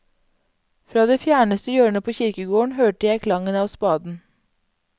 Fra det fjerneste hjørne på kirkegården hørte jeg klangen av spaden.